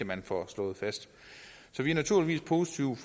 man får slået fast så vi er naturligvis positive